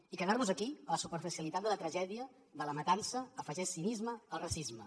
i quedar nos aquí a la superficialitat de la tragèdia de la matança afegeix cinisme al racisme